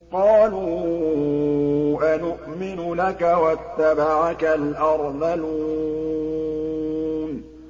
۞ قَالُوا أَنُؤْمِنُ لَكَ وَاتَّبَعَكَ الْأَرْذَلُونَ